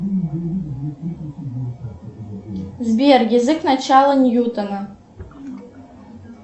сбер язык начала ньютона